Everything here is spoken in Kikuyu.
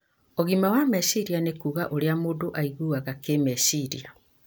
Ũgima wa meciria nĩ kuuga ũrĩa mũndũ aiguaga kĩmeciria